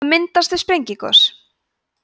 það myndast við sprengigos